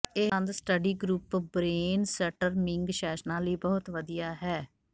ਇਹ ਸੰਦ study group brainstorming ਸੈਸ਼ਨਾਂ ਲਈ ਬਹੁਤ ਵਧੀਆ ਹੈ